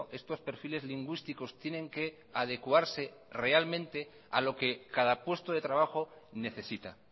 estos perfiles lingüísticos tienen que adecuarse realmente a lo que cada puesto de trabajo necesita